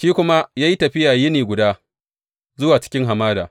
Shi kuma ya yi tafiya yini guda zuwa cikin hamada.